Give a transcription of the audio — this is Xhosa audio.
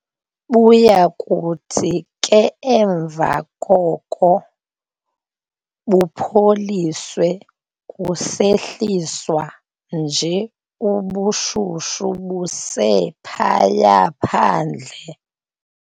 Buyakuthi ke emva koko bupholiswe kusehliswa nje ubushushu buse phaya phandle.